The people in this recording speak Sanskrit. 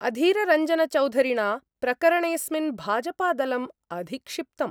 अधीररञ्जनचौधरिणा प्रकरणेस्मिन् भाजपादलम् अधिक्षिप्तम्।